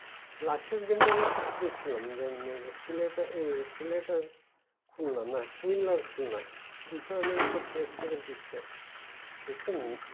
last এর game তা আমি কিছুটা দেখছিলাম যে এক্সেলেটর খুন্না না কুইন লার্ন ক্ষুন্ন ফিলটার দুইশো রানের উপর চেস করে জিতছে দেখছেন